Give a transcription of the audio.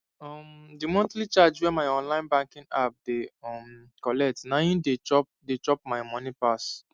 um the monthly charge wey my online banking app dey um collect na hin dey chop dey chop my money pass